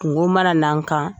Kunko mana na n kan